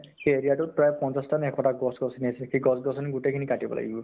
সেই area তো ত প্ৰায় পঞ্চাছ নে এশটা গছ গছনি আছে, সেই গছ গছনি গোটেই খিনি কাটিব লাগিব ।